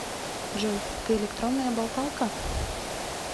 джой ты электронная болталка